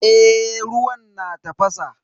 Eh ruwan na tafasa.